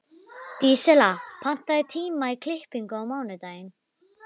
Dísella, pantaðu tíma í klippingu á mánudaginn.